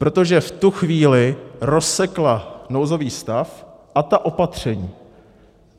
Protože v tu chvíli rozsekla nouzový stav a ta opatření.